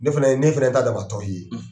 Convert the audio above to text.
Ne fana ne fana ye n ta dama tɔn ye